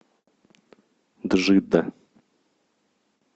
джидда